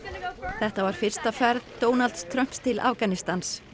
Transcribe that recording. þetta var fyrsta ferð Donalds Trumps til Afganistans